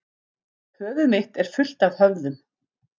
Höfuð mitt er fullt af höfðum.